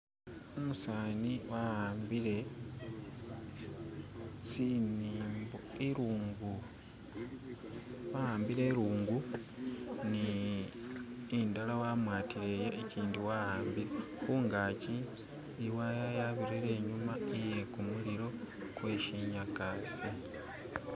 Umusani wahambile tsimumbo ilungu wahambile ilungu ni indala wamwatile ijindi wahambile khugakyi iwaya yabirile inyuma iyekumuliro gwe shinyagasa